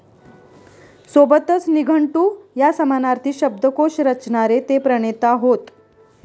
सोबतच निघंटु या समानार्थी शब्दकोश रचणारे ते प्रणेता होत.